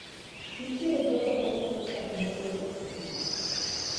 Nitiere jogo mauso chak mopoto e chiro.